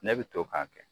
Ne bɛ to k'a kɛ